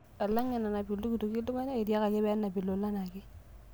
Alang' enanap ltukutuki ltung'ana, etiakaki pee enap ilulan ake